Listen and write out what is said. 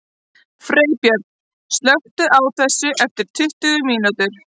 Freybjörn, slökktu á þessu eftir tuttugu mínútur.